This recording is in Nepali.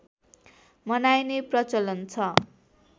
मनाइने प्रचलन छ